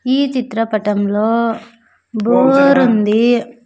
ఈ చిత్రపటంలో బోర్ ఉంది.